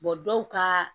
dɔw ka